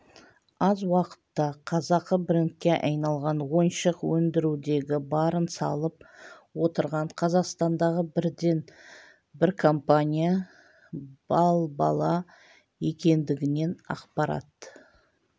аз уақытта қазақы брендке айналған ойыншық өндіруге барын салып отырған қазақстандағы бірден бір компания бал бала екендігінен ақпарат